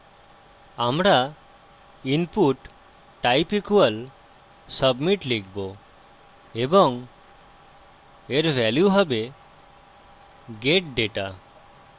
আমরা input type equal submit লিখব এবং এর value হবে get data